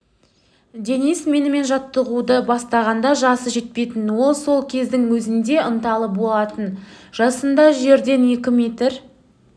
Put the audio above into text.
денис менімен жаттығуды бастағанда жасы жетпейтін ол сол кездің өзінде ынталы болатын жасында жерден екі метр